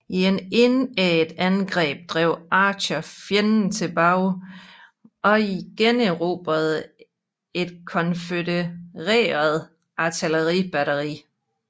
I et indædt angreb drev Archer fjenden tilbage og generobrede et konfødereret artilleribatteri